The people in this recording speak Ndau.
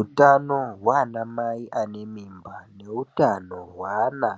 Utano hwanamai ane mimba neutano hweana